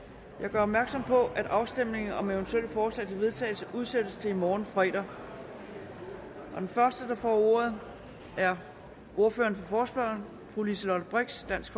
gør opmærksom på at afstemning om eventuelle forslag til vedtagelse udsættes til i morgen fredag den første der får ordet er ordføreren for forespørgerne fru liselott blixt dansk